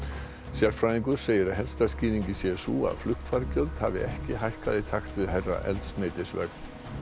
sérfræðingur segir að helsta skýringin sé sú að flugfargjöld hafi ekki hækkað í takt við hærra eldsneytisverð